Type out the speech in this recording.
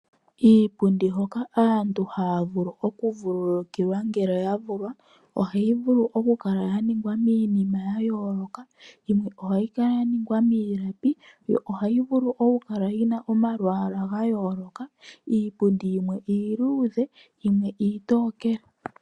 Iipundi hoka aantu haya vulu okuvulukilwa ngele yavulwa, ohayi vulu okukala yaningwa miinima ya yooloka. Yimwe ohayi kala yaningwa miilapi, yo ohayi vulu okukala yina omalwaala gayooloka. Iipundi yimwe iiluudhe, yimwe iitookele.